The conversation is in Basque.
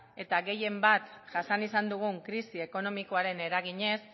eta gehien bat jasan izan dugun krisi ekonomikoaren eraginez